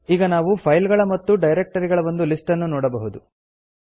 ಈಗ ನಾವು ಫೈಲ್ ಗಳ ಮತ್ತು ಡೈರೆಕ್ಟರಿಗಳ ಒಂದು ಲಿಸ್ಟ್ ನ್ನು ನೋಡಬಹುದು